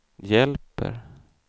hjälper